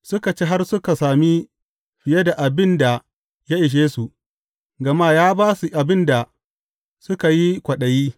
Suka ci har suka sami fiye da abin da ya ishe su, gama ya ba su abin da suka yi kwaɗayi.